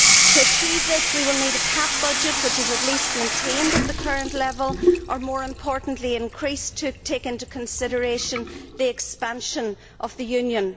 To achieve this, we will need a CAP budget which is at least maintained at the current level or, more importantly, increased to take into consideration the expansion of the Union.